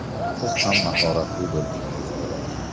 Siz ham mahoratli bo‘lishingiz kerak.